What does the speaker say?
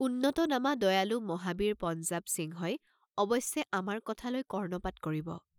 উন্নতনামা দয়ালু মহাবীৰ পঞ্জাৱসিংহই অৱশ্যে আমাৰ কথালৈ কৰ্ণপাত কৰিব।